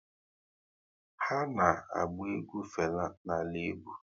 Ha na-agba egwu Fela na ala egwu